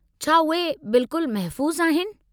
छा उहे बिल्कुलु महफ़ूज़ आहिनि?